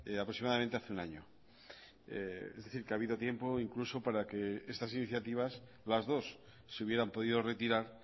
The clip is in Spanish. aproximadamente hace un año es decir que ha habido tiempo incluso para que estas iniciativas las dos se hubieran podido retirar